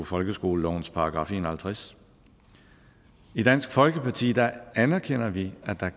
folkeskolelovens § en og halvtreds i dansk folkeparti anerkender vi at der